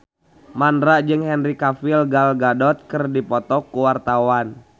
Mandra jeung Henry Cavill Gal Gadot keur dipoto ku wartawan